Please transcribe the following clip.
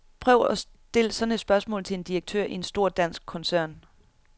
Prøv at stil sådan et spørgsmål til en direktør i en stor dansk koncern.